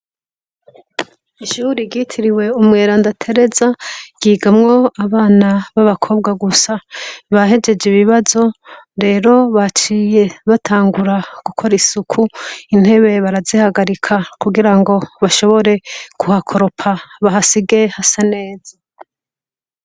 Ishure ryitiriwe Umweranda Tereza ryigamwo abana b'abakobwa gusa. Bahejeje ibibazo rero baciye batangura gukora isuku intebe barazihagarika kugirango bashobore kuhakoropa bahasige hasa neza.